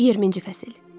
20-ci fəsil.